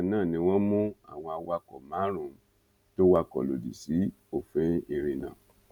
bákan náà ni wọn mú àwọn awakọ márùnún tó wakọ lòdì sí òfin ìrìnnà